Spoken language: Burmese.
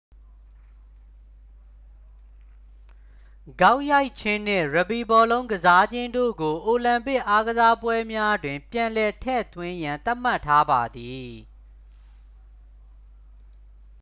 ဂေါက်ရိုက်ခြင်းနှင့် ရက်ဘီဘောလုံး ကစားခြင်းတို့ကို အိုလံပစ်အားကစားပွဲများတွင် ပြန်လည်ထည့်သွင်းရန် သတ်မှတ်ထားပါသည်